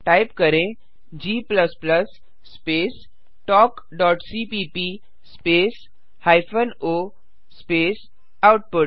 type करें g space talkसीपीप space hyphen o space output